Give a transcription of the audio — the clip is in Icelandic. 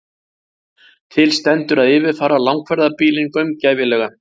Til stendur að yfirfara langferðabílinn gaumgæfilega